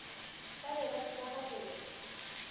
ba be ba tseba gabotse